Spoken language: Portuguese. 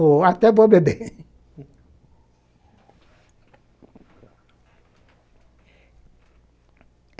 Ou até vou beber.